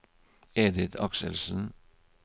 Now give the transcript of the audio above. Edith Akselsen